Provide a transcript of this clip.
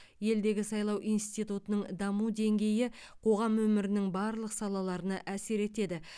елдегі сайлау институтының даму деңгейі қоғам өмірінің барлық салаларына әсер етеді